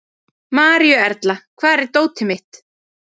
Maríuerla, hvar er dótið mitt?